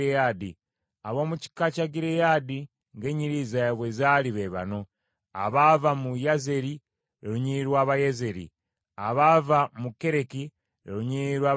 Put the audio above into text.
Ab’omu kika kya Gireyaadi ng’ennyiriri zaabwe bwe zaali be bano: abaava mu Yezeeri, lwe lunyiriri lw’Abayezeeri, abaava mu Kereki, lwe lunyiriri lw’Abakereki;